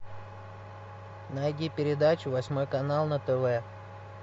найди передачу восьмой канал на тв